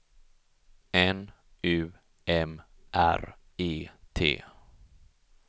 N U M R E T